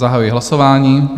Zahajuji hlasování.